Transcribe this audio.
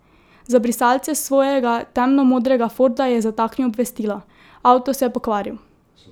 Za brisalce svojega temno modrega forda je zataknil obvestilo: "Avto se je pokvaril.